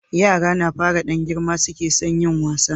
yara na fara Dan girma suke son yin wasa